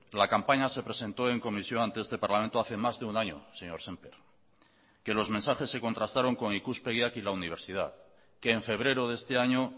la campaña se presentó en comisión ante este parlamento hace más de un año señor sémper que los mensajes se contrastaron con ikuspegiak y la universidad que en febrero de este año